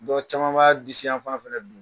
Dɔnku caman ba disiyafan fana don